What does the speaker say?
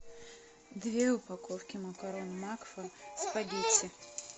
две упаковки макарон макфа спагетти